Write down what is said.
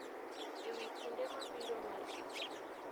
e wi kinde mabiro mar tichne.